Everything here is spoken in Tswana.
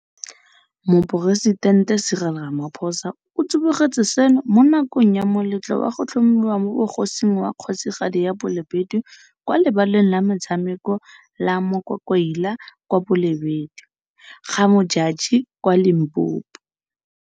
Moporesitente Cyril Ramaphosa o tsibogetse seno mo nakong ya moletlo wa go tlhomiwa mo bogosing wa Kgosigadi ya Balobedu kwa lebaleng la metshameko la Mokwakwaila kwa Bolobedu, GaModjadji kwa Limpopo.